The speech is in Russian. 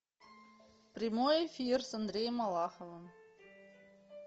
прямой эфир с андреем малаховым